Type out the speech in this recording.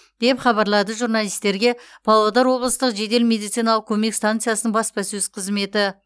деп хабарлады журналистерге павлодар облыстық жедел медициналық көмек стансасының баспасөз қызметі